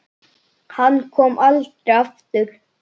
Hann kom aldrei aftur.